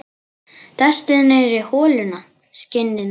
Dastu niðrí holuna, skinnið mitt?